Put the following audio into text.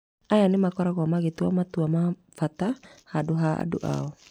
Aya nĩmakoragwo magĩtua matua ma bata handũ ha andũ ao